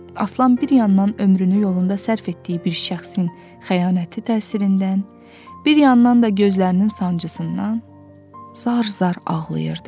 Aslan bir yandan ömrünü yolunda sərf etdiyi bir şəxsin xəyanəti təsirindən, bir yandan da gözlərinin sancısından zar-zar ağlayırdı.